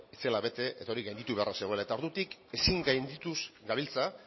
ez zela bete eta hori gainditu beharra zegoela eta ordutik ezin gaindituz gabiltza